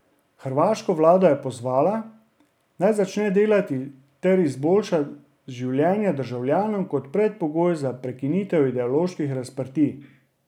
Hrvaško vlado je pozvala, naj začne delati ter izboljša življenje državljanom kot predpogoj za prekinitev ideoloških razprtij.